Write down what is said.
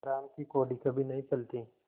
हराम की कौड़ी कभी नहीं फलती